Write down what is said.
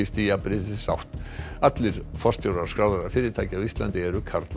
í jafnréttisátt allir forstjórar skráðra fyrirtækja á Íslandi eru karlar